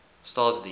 staatsdiens